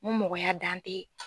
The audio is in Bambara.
N ko mɔgɔya dan tɛ